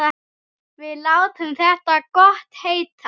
Við látum þetta gott heita.